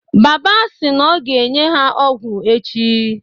Baba sị na ọ ga-enye ha ọgwụ echi.